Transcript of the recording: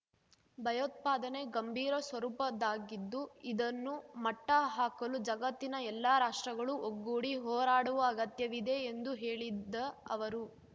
ಭಯೋತ್ಪಾದನೆ ಗಂಭೀರ ಸ್ವರೂಪದ್ದಾಗಿದ್ದು ಇದನ್ನು ಮಟ್ಟ ಹಾಕಲು ಜಗತ್ತಿನ ಎಲ್ಲಾ ರಾಷ್ಟ್ರಗಳು ಒಗ್ಗೂಡಿ ಹೋರಾಡುವ ಅಗತ್ಯವಿದೆ ಎಂದು ಹೇಳಿದ ಅವರು